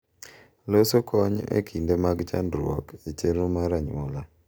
Loso kony e kinde mag chandruok e chenro mar anyuola